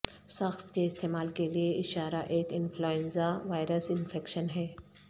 ساخت کے استعمال کے لئے اشارہ ایک انفلوئنزا وائرس انفیکشن ہے